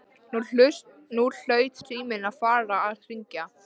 Nú hlaut síminn að fara að hringja.